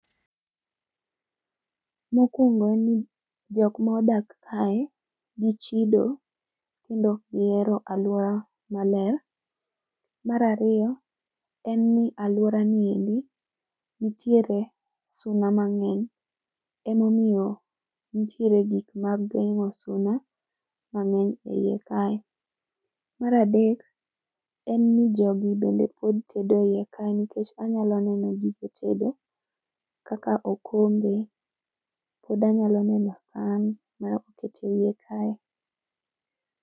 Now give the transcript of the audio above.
Mokuongo en ni jok modak kae gichido kendo ok gihero aluora maler. Mar ariyo en ni aluoranieri nitiere suna mang'eny emomiyo nitiere gik geng'o suna mang'eny. Emomiyo nitiere gik mag geng'o suna mang'eny eiye kae. Mar adek en ni jogi bende pod tedo eiyekae nikech anyalo neno gige tedo kaka okombe, pod anyalo neno san moket eiye kae.